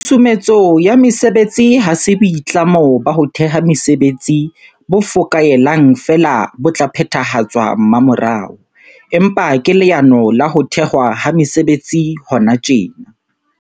Tshusumetso ya mesebetsi ha se boitlamo ba ho theha mesebetsi bo fokaelang feela bo tla phethahatswa mmamorao, empa ke leano la ho thehwa ha mesebetsi hona tjena.